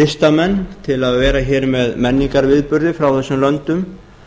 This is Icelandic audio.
listamenn til að vera hér með menningarviðburði frá þessum löndum